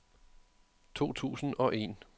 to tusind og en